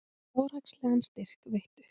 Fjárhagslegan styrk veittu